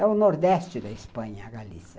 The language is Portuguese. É o nordeste da Espanha, a Galícia.